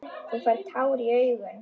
Þú færð tár í augun.